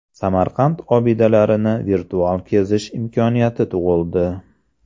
Samarqand obidalarini virtual kezish imkoniyati tug‘ildi.